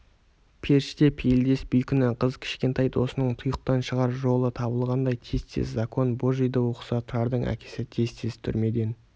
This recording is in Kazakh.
періште пейілдес бейкүнә қыз кішкентай досының тұйықтан шығар жолы табылғандай тез-тез закон божийді оқыса тұрардың әкесі тез-тез түрмеден